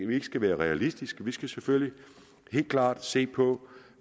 vi ikke skal være realistiske vi skal selvfølgelig helt klart se på